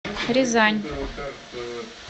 рязань